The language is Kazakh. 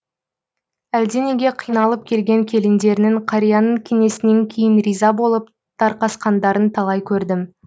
әлденеге қиналып келген келіндерінің қарияның кеңесінен кейін риза болып тарқасқандарын талай көрдім